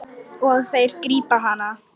Og þeir grípa hana.